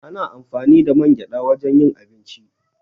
Ana amfani da man gyaɗa wajen yin abinci.